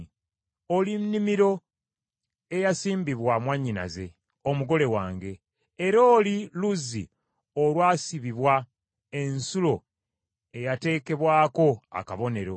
Oli nnimiro eyasimbibwa, mwannyinaze, omugole wange, era oli luzzi olwasibibwa , ensulo eyateekebwako akabonero.